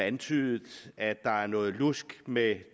antydet at der er noget lusk med